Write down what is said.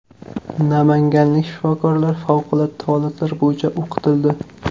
Namanganlik shifokorlar favqulodda holatlar bo‘yicha o‘qitildi.